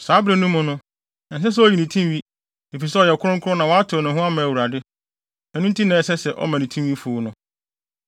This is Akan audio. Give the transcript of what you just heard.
“Saa bere no mu no, ɛnsɛ sɛ oyi ne tinwi, efisɛ ɔyɛ kronkron na wɔatew ne ho ama Awurade; ɛno nti na ɛsɛ sɛ ɔma ne tinwi fuw no.